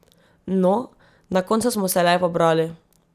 No, na koncu smo se le pobrali.